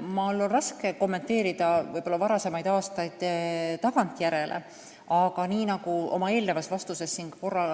Mul on raske kommenteerida võib-olla varasemaid aastaid tagantjärele, aga nii, nagu ma oma eelnevas vastuses korra